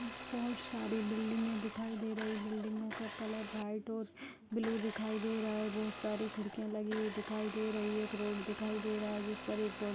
बहोत सारी बिल्डिंगे दिखाई दे रहीं हैं बिल्डिंगो का कलर व्हाइट और ब्लू दिखाई दे रहा है बहोत सारी खिड़कियां लगी हुई दिखाई दे रहीं हैं एक रोड दिखाई दे रहा है जिस पर एक --